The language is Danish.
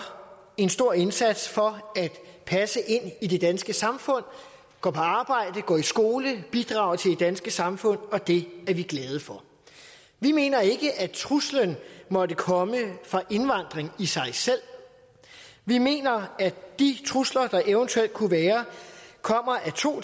en stor indsats for at passe ind i det danske samfund går på arbejde går i skole bidrager til det danske samfund og det er vi glade for vi mener ikke at truslen måtte komme fra indvandring i sig selv vi mener at de trusler der eventuelt kunne være kommer af to